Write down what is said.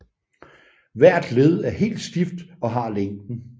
Hvert led er helt stift og har længden